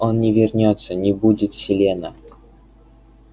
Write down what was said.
он не вернётся не будет селена